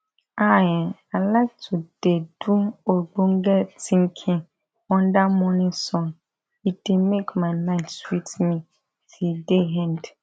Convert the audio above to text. ah[um]i like to de do ogbonge tinkin unda mornin sun e dey make my mind sweet me till day end